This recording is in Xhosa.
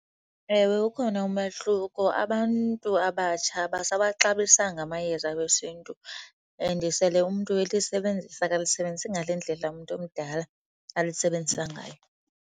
Ewe, ukhona umahluko. Abantu abatsha abasawaxabisanga amayeza wesiNtu and sele umntu elisebenzisa akalisebenzisi ngale ndlela umntu omdala alisebenza ngayo.